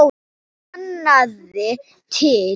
Sanniði til